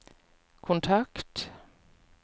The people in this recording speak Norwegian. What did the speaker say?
kontakt